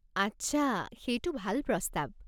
আচ্ছা, সেইটো ভাল প্ৰস্তাৱ।